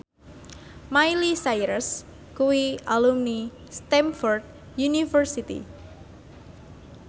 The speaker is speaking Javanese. Miley Cyrus kuwi alumni Stamford University